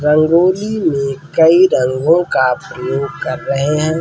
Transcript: रंगोली में कई रंगों का प्रयोग कर रहे हैं।